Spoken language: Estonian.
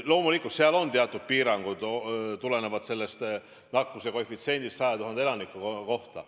Loomulikult on teatud piirangud, mis tulenevad nakkuskoefitsiendist 100 000 elaniku kohta.